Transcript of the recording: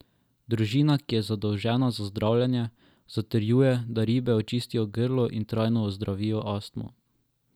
Družina, ki je zadolžena za zdravljenje, zatrjuje, da ribe očistijo grlo in trajno ozdravijo astmo.